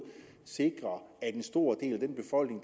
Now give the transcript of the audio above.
sikrer at en stor del af den befolkning